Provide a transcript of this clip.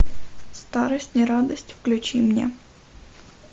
старость не радость включи мне